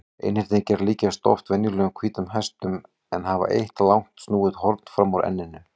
Einhyrningar líkjast oft venjulegum hvítum hestum en hafa eitt langt snúið horn fram úr enninu.